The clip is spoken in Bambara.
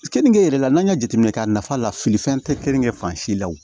Kenige yɛrɛ la n'an y'a jateminɛ k'a nafa la fili fɛn tɛ kenige fan si la o